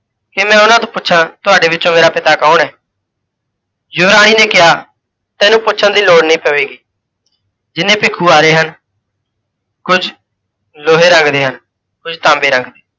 ਕੀ ਮੈਂ ਓਹਨਾ ਤੋਂ ਪੁੱਛਾਂ, ਤੁਹਾਡੇ ਵਿੱਚੋਂ ਮੇਰਾ ਪਿਤਾ ਕੌਣ ਹੈ? ਯੁਵਰਾਣੀ ਨੇ ਕਿਹਾ, ਤੈਨੂੰ ਪੁੱਛਣ ਦੀ ਲੋੜ ਨਹੀਂ ਪਵੇਗੀ, ਜਿਨ੍ਹੇ ਭਿੱਖੂ ਆ ਰਹੇ ਹਨ, ਕੁੱਝ ਲੋਹੇ ਰੰਗ ਦੇ ਹਨ, ਕੁੱਝ ਤਾਂਬੇ ਰੰਗ ਦੇ,